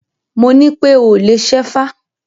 Mo nípé o ò lè ṣẹ́fá!